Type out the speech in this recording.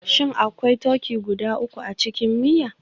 Shin akwai turkey guda uku a cikin miya?